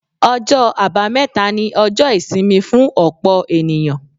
Ọjọ́ àbámẹ́ta ni ọjọ́ ìsinmi fún ọ̀pọ̀ ènìyàn.